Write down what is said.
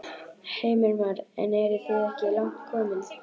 Heimir Már: En eru þið ekki langt komin?